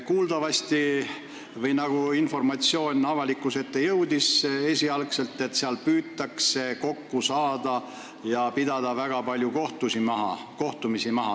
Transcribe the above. Kuuldavasti – või nagu informatsioon esialgu avalikkuse ette jõudis – seal püütakse kokku saada ja pidada maha väga palju kohtumisi.